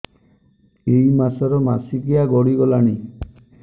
ଏଇ ମାସ ର ମାସିକିଆ ଗଡି ଗଲାଣି